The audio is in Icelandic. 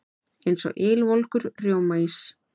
Eins og ylvolgur rjómaís.